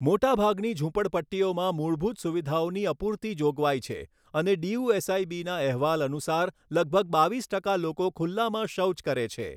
મોટા ભાગની ઝૂંપડપટ્ટીઓમાં મૂળભૂત સુવિધાઓની અપૂરતી જોગવાઈ છે અને ડીયુએસઆઈબીના અહેવાલ અનુસાર લગભગ બાવીસ ટકા લોકો ખુલ્લામાં શૌચ કરે છે.